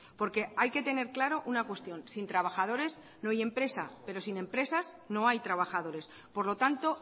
porque hay que tener claro una cuestión sin trabajadores no hay empresa pero sin empresas no hay trabajadores por lo tanto